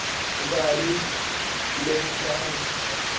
ਉਧਾਰੀ ਲਈ ਜਾ ਰਹੀ ਹੈ।